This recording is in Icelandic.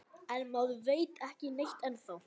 En maður veit ekki neitt ennþá